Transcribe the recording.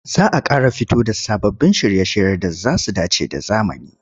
Za a ƙara fito da sababbin shirye-shirye da za su dace da zamani.